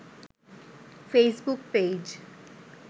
Facebook page